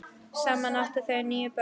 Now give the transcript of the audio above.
Saman áttu þau níu börn.